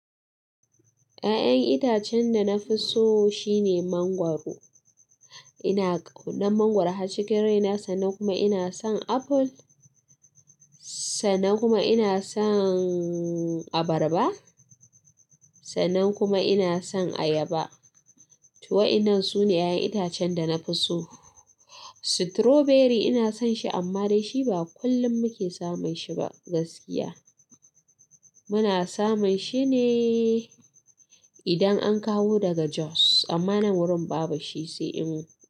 Ya'yan itacen da na fi so shine mangwaro. Ina ƙaunar mangwaro, har cikin raina sannan kuma ina son apple, sannan kuma ina son abarba, sannan kuma ina son ayaba. To wa'inan su ne ya'yan itacen da na fi so. Strawberry ina son shi amma da shi ba kullum muke samun shi ba gaskiya. Muna samun shi ne idan an kawo daga Jos amma nan wurin babu shi sai in-